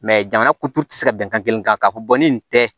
jamana kuturu tɛ se ka bɛnkan kelen kan k'a fɔ ni tɛ